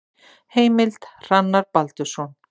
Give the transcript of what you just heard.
Heimild: Hrannar Baldursson.